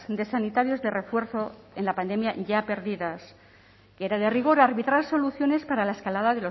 de sanitarios de refuerzo en la pandemia ya perdidas era de rigor arbitrar soluciones para la escalada